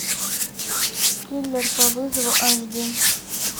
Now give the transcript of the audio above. киллер по вызову аш ди